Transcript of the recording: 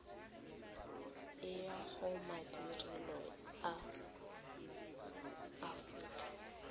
e ya gomadirelo a aforika